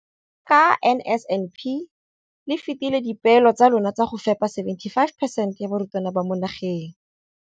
Ka NSNP le fetile dipeelo tsa lona tsa go fepa masome a supa le botlhano a diperesente ya barutwana ba mo nageng.